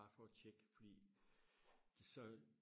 bare for og tjekke fordi så